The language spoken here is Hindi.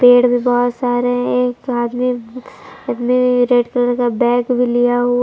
पेड़ भी बहुत सारे हैं एक आदमी आदमी रेड कलर का बैग भी लिया हुआ--